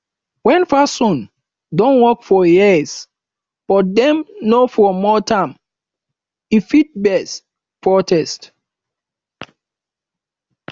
when person don work for years but dem no promote am e fit vex protest